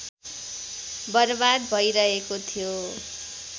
बर्बाद भइरहेको थियो